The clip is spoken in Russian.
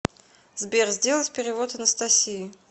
сбер сделать перевод анастасии